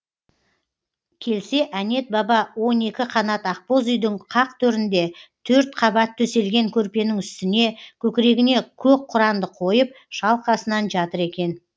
келсе әнет баба он екі қанат ақбоз үйдің қақ төрінде төрт қабат төселген көрпенің үстіне көкірегіне көк құранды қойып шалқасынан жатыр екен